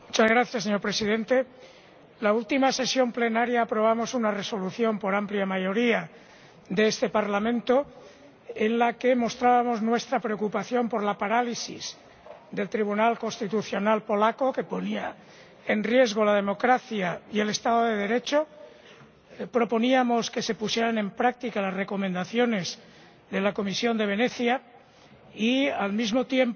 Señor Presidente, en el último periodo parcial de sesiones aprobamos una Resolución por amplia mayoría de este Parlamento, en la que mostrábamos nuestra preocupación por la parálisis del Tribunal Constitucional polaco, que ponía en riesgo la democracia y el Estado de Derecho, proponíamos que se pusieran en práctica las recomendaciones de la Comisión de Venecia y, al mismo tiempo,